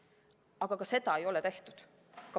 Aga ka seda ei ole tehtud.